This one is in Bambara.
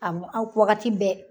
Awɔ a wagati bɛɛ